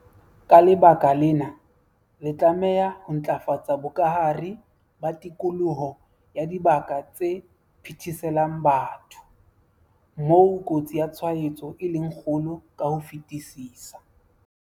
Ka lebaka lena, re tlameha ho ntlafatsa bokahare ba tikoloho ya dibaka tse phetheselang batho, moo kotsi ya tshwaetso e leng kgolo ka ho fetisisa.